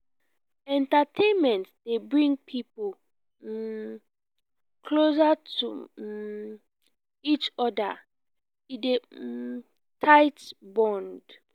entertainment dey bring pipo um closer to um each other e dey um tight bond.